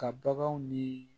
Ka baganw ni